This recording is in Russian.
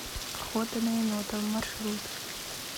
охота на енота маршрут